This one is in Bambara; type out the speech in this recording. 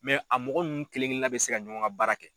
a mɔgɔ ninnu kelen kelennan bɛ se ka ɲɔgɔn ka baara kɛ.